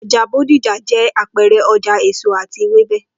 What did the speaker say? O̩jà Bódìjà jé̩ àpe̩e̩re̩ o̩jà èso àti ewébè